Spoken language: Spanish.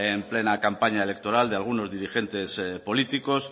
en plena campaña electoral de algunos dirigentes políticos